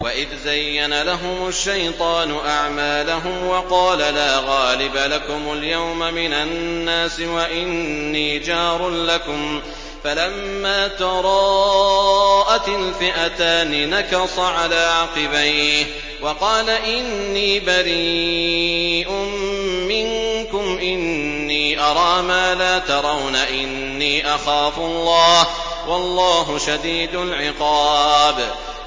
وَإِذْ زَيَّنَ لَهُمُ الشَّيْطَانُ أَعْمَالَهُمْ وَقَالَ لَا غَالِبَ لَكُمُ الْيَوْمَ مِنَ النَّاسِ وَإِنِّي جَارٌ لَّكُمْ ۖ فَلَمَّا تَرَاءَتِ الْفِئَتَانِ نَكَصَ عَلَىٰ عَقِبَيْهِ وَقَالَ إِنِّي بَرِيءٌ مِّنكُمْ إِنِّي أَرَىٰ مَا لَا تَرَوْنَ إِنِّي أَخَافُ اللَّهَ ۚ وَاللَّهُ شَدِيدُ الْعِقَابِ